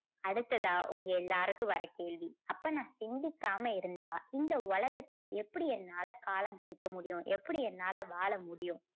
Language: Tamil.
அடுத்ததா உங்க எல்லாருக்கும் வர கேள்வி. அப்போ நான் சிந்திக்காம இருந்தால் இந்த உலகத்துல எப்படி என்னால காலம் கழிக்க முடியும்? எப்படி என்னால வாழ முடியும்?